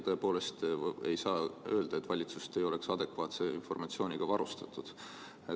Tõepoolest ei saa öelda, et valitsust ei oleks adekvaatse informatsiooniga varustatud.